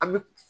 An bɛ